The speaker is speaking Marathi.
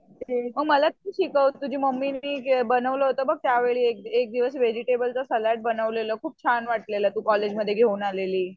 अ मला तू शिकव तुझी मम्मीनी बनवलं होतं बघ त्यावेळी एकदिवस वेजिटेबलचं सॅलड बनवलं होतं बघ खूप छान वाटलेलं तू कॉलेजमध्ये घेऊन आलेली.